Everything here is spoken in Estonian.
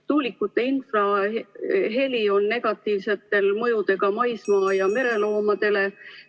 Tuulikute infraheli on negatiivsete mõjudega maismaa- ja mereloomadele.